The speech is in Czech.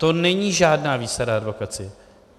To není žádná výsada advokacie.